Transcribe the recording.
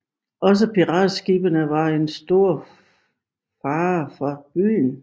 Også piratskibene var en stor fare for byen